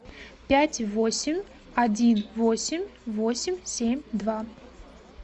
пять восемь один восемь восемь семь два